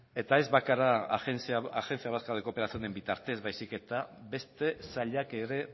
eta ez bakarra agencia vasca de cooperaciónen bitartez baizik eta beste sailak ere